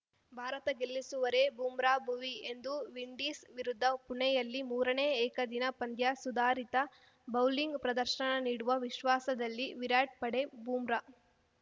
ಭಾರತ ಗೆಲ್ಲಿಸುವರೇ ಬೂಮ್ರಾ ಭುವಿ ಇಂದು ವಿಂಡೀಸ್‌ ವಿರುದ್ಧ ಪುಣೆಯಲ್ಲಿ ಮೂರನೇ ಏಕದಿನ ಪಂದ್ಯ ಸುಧಾರಿತ ಬೌಲಿಂಗ್‌ ಪ್ರದರ್ಶನ ನೀಡುವ ವಿಶ್ವಾಸದಲ್ಲಿ ವಿರಾಟ್‌ ಪಡೆ ಬೂಮ್ರಾ